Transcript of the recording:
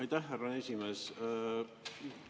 Aitäh, härra esimees!